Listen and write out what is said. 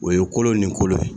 O ye kolo ni kolo ye.